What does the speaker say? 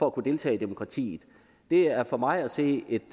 at kunne deltage i demokratiet det er for mig at se et